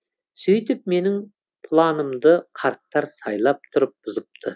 сүйтіп менің планымды қарттар сайлап тұрып бұзыпты